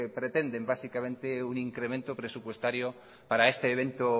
pretenden básicamente un incremento presupuestario para este evento